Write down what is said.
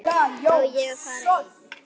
Á ég að fara einn?